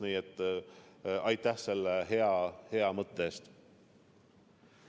Nii et aitäh selle hea mõtte eest!